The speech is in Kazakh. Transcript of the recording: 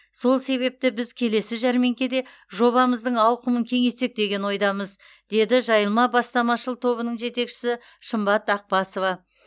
сол себепті біз келесі жәрмеңкеде жобамыздың ауқымын кеңейтсек деген ойдамыз деді жайылма бастамашыл тобының жетекшісі шымбат ақбасова